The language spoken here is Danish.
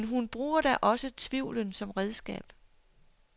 Men hun bruger da også tvivlen som redskab.